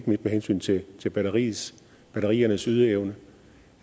med hensyn til til batteriernes batteriernes ydeevne